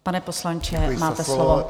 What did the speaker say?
Pan poslanče, máte slovo.